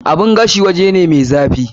Oven wuri ne mai zafi.